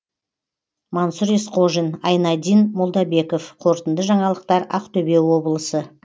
мансұр есқожин айнадин молдабеков қорытынды жаңалықтар ақтөбе облысы